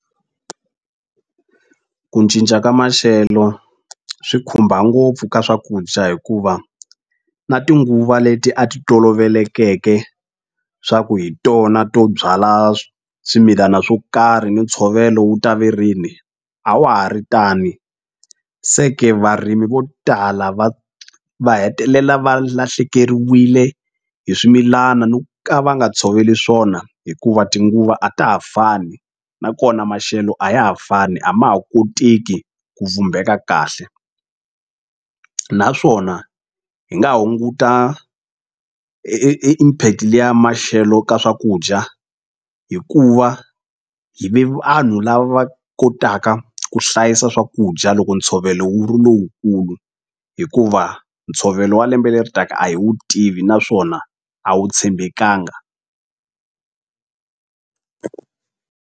Ku cinca ka maxelo swi khumba ngopfu ka swakudya hikuva na tinguva leti a ti tolovelekeke swa ku hi tona to byala swimilana swo karhi ni ntshovelo wu ta ve rini a wa ha ri tani se ke varimi vo tala va va hetelela va lahlekeriwile hi swimilana ni ka va nga tshoveli swona hikuva tinguva a ta ha fani na kona maxelo a ya ha fani a ma ha koteki ku vhumbeka kahle naswona hi nga hunguta impact liya maxelo ka swakudya hikuva hi ve vanhu lava kotaka ku hlayisa swakudya loko ntshovelo wu ri lowukulu hikuva ntshovelo wa lembe leri taka a hi wu tivi naswona a wu tshembekanga.